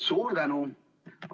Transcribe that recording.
Suur tänu!